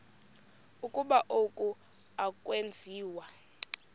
ukuba oku akwenziwa